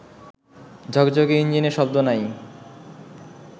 ঝকঝকে ইঞ্জিনে শব্দ নাই